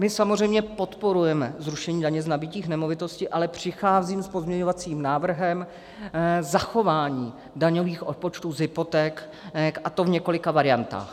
My samozřejmě podporujeme zrušení daně z nabytí nemovitosti, ale přicházím s pozměňovacím návrhem zachování daňových odpočtů z hypoték, a to v několika variantách.